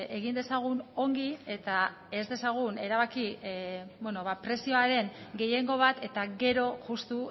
egin dezagun ongi eta ez dezagun erabaki prezioaren gehiengo bat eta gero justu